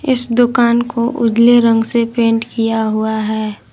इस दुकान को उजले रंग से पेंट किया हुआ है।